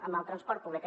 amb el transport públic